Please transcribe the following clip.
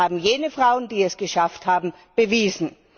Das haben jene Frauen, die es geschafft haben, bewiesen.